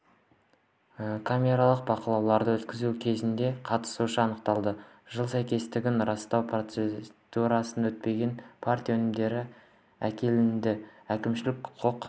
камералдық бақылауды өткізу кезінде қатысушысы анықталды жылы сәйкестігін растау процедурасынан өтпеген партия өнімдері әкелінді әкімшілік құқық